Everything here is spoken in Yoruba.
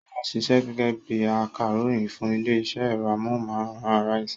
Ṣọlá ṣiṣẹ́ gẹ́gẹ́ bí i akàròyìn fún ilé-iṣẹ́ ẹ̀rọ amóhùmáwòhán Arise.